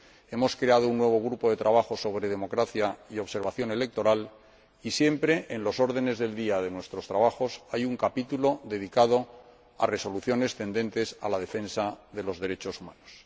ha creado un nuevo grupo de trabajo sobre democracia y observación electoral, y, siempre, en los órdenes del día de sus trabajos, hay un capítulo dedicado a resoluciones tendentes a la defensa de los derechos humanos.